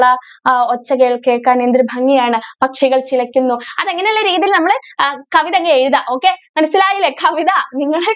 അ ആ ഒച്ചകൾ കേൾക്കാൻ എന്തൊരു ഭംഗിയാണ് പക്ഷികൾ ചിലക്കുന്നു. അത് അങ്ങനെ ഉള്ള രീതിയിൽ നമ്മള് അ കവിത അങ്ങ് എഴുതുക. okay മനസ്സിലായില്ലേ? കവിത.